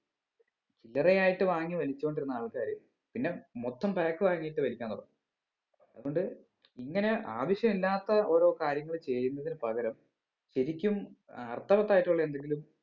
ചില്ലറ ആയിട്ട് വാങ്ങി വലിച്ചോണ്ട് ഇരുന്ന ആൾക്കാര് പിന്നെ മൊത്തം pack വാങ്ങീട്ട് വലിക്കാൻ തുടങ്ങും അതുകൊണ്ട് ഇങ്ങനെ ആവശ്യമില്ലാത്ത ഓരോ കാര്യങ്ങൾ ചെയ്യുന്നതിന് പകരം ശരിക്കും അർത്ഥവത്തായിട്ടുള്ള എന്തെങ്കിലും